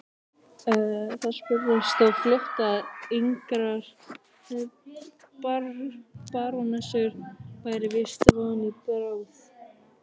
Það spurðist þó fljótt að engrar barónessu væri víst von í bráð.